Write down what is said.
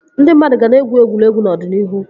Ndị mmadụ ka ga na-egwu egwuregwu n'ọdịnihu